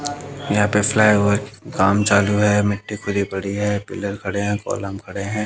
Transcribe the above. यहां पे फ्लाईओवर के काम चालू है मिट्टी खुदी पड़ी है पिलर खड़े हैं कॉलम खड़े हैं।